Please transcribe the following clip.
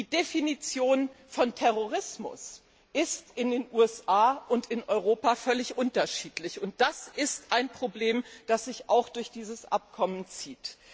Die Definition von Terrorismus ist in den USA und in Europa völlig unterschiedlich, und das ist ein Problem, das sich auch durch dieses Abkommen zieht.